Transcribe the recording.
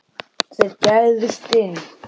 Þeir gægðust inn.